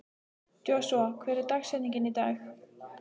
Joshua, hver er dagsetningin í dag?